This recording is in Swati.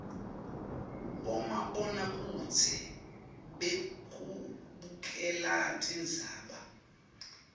bomabonakudze bekubukela tindzaba